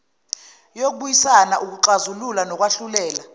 yokubuyisana ukuxazulula nokwahlulela